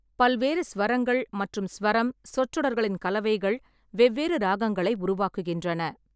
பல்வேறு ஸ்வரங்கள் மற்றும் ஸ்வரம் சொற்றொடர்களின் கலவைகள் வெவ்வேறு ராகங்களை உருவாக்குகின்றன.